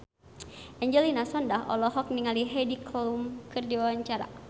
Angelina Sondakh olohok ningali Heidi Klum keur diwawancara